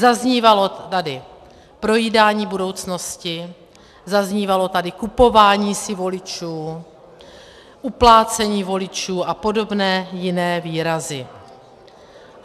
Zaznívalo tady projídání budoucnosti, zaznívalo tady kupování si voličů, uplácení voličů a podobné jiné výrazy.